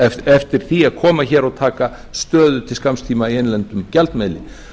eftir því að koma hér og taka stöðu til skamms tíma í innlendum gjaldmiðli